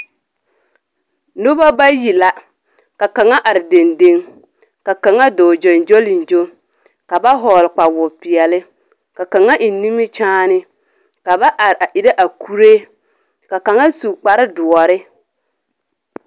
Noba bayi la, ka kaŋa are dendeŋ ka kaŋa dͻͻ gyoŋgyoŋliŋgyo ka ba vͻgele kpwoopeԑle ka kaŋa eŋ nimikyaane. Ka ba are a erԑ a kuree. Ka kaŋa su kpare dõͻre.